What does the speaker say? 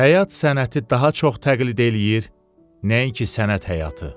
Həyat sənəti daha çox təqlid eləyir, nəinki sənət həyatı.